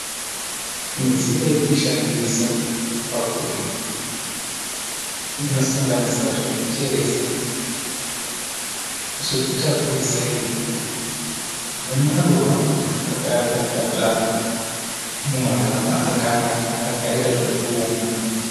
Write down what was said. Midziyo yekushandisa pakurima inosanganisira zvekucheresa, zvekutakurisa ivhu nemaruva ekushaka akadyarwa mumagaba akanaka akaita zvekuumba.